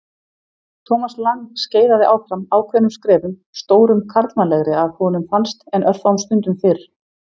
Thomas Lang skeiðaði áfram ákveðnum skrefum, stórum karlmannlegri að honum fannst en örfáum stundum fyrr.